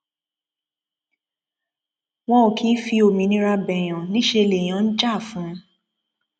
wọn ò kì í fi òmìnira béèyàn níṣẹ lèèyàn ń jà fún un